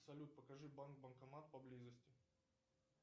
салют покажи банк банкомат поблизости